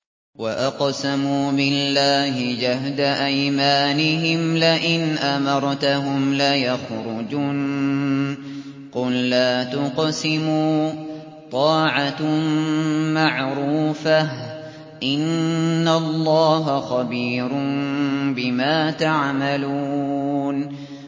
۞ وَأَقْسَمُوا بِاللَّهِ جَهْدَ أَيْمَانِهِمْ لَئِنْ أَمَرْتَهُمْ لَيَخْرُجُنَّ ۖ قُل لَّا تُقْسِمُوا ۖ طَاعَةٌ مَّعْرُوفَةٌ ۚ إِنَّ اللَّهَ خَبِيرٌ بِمَا تَعْمَلُونَ